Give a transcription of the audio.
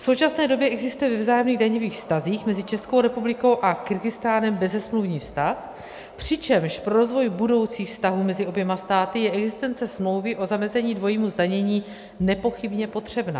V současné době existuje ve vzájemných daňových vztazích mezi Českou republikou a Kyrgyzstánem bezesmluvní vztah, přičemž pro rozvoj budoucích vztahů mezi oběma státy je existence smlouvy o zamezení dvojímu zdanění nepochybně potřebná.